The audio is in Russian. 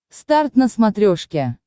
старт на смотрешке